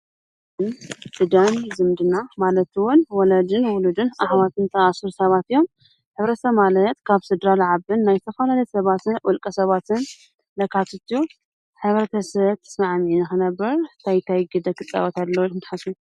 ዝምድና ማለት ድማ ወላድን ውሉድን ኣሕዋትን ዝተኣሳሰሩ ሰባት እዮም። ሕብረተሰብ ማለት ካብ ስድራ ዝዓብን ናይ ዝተፈላለዩ ሰባትን ውልቀ ሰባትን ዘካትት ኣዩ። ሕብረተሰብ ተፅናዕኒዑ ክነብር እንታይ ግደ ክፃወት ኣለዎ ኢልኩም ትሓስቡ?